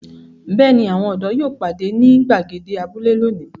Bẹ́ẹ̀ ni, àwọn ọ̀dọ́ yóò pàdé ní ìgbàgede abúlé lónìí.